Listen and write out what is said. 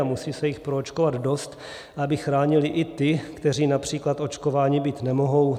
A musí se jich proočkovat dost, aby chránili i ty, kteří například očkováni být nemohou.